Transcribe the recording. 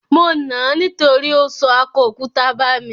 Mo nà ań nítorí ó sọ akọ òkúta bà mí.